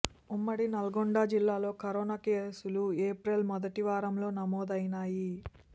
ఉమ్మడి నల్లగొండ జిల్లాలో కరోనా కేసులు ఏప్రిల్ మొదటి వారంలో నమోదైనాయి